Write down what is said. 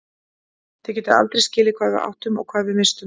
Þið getið aldrei skilið hvað við áttum og hvað við misstum.